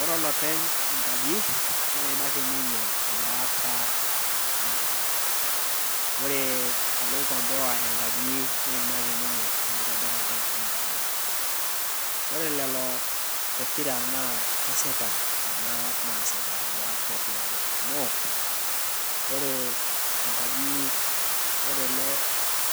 Ore olopeny enkaji, naa eimaki ninye elaata enkaji. Ore oloikomboa enkaji, neimaki ninye enkitonirata enkaji. Kore lelo pokira naa kesipa naasita nena luat pokira are amu, ore ele